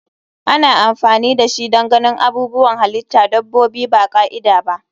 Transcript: Ana amfani dashi don ganin abubuwan halitta dabbobi ba ka'ida ba.